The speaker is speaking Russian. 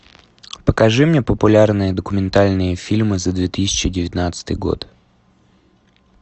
покажи мне популярные документальные фильмы за две тысячи девятнадцатый год